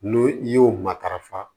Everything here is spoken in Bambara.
N'o i y'o matarafa